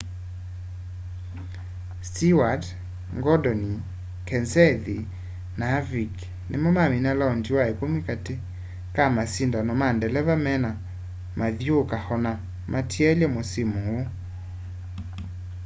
stewart gordon kenseth na harvick nimo mamina laondi wa ikumi kati ka masindano ma ndeleva mena mathyuuka ana matielye musimu uu